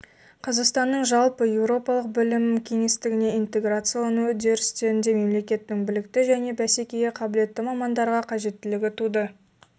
қазақстанның жалпы еуропалық білім кеңістігіне интеграциялану үдерісінде мемлекеттің білікті және бәсекеге қабілетті мамандарға қажеттілігі туды